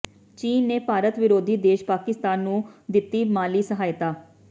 ਚੀਨ ਨੇ ਭਾਰਤ ਵਿਰੋਧੀ ਦੇਸ਼ ਪਾਕਿਸਤਾਨ ਨੂੰ ਦਿੱਤੀ ਮਾਲੀ ਸਹਾਇਤਾ